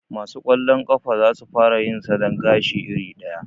Ma su kwallon ƙafa za su fara yin salon gashi iri ɗaya